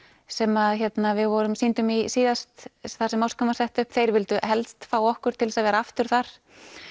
sem við sýndum í síðast þar sem moskan var sett upp þeir vildu helst fá okkur til að vera aftur þar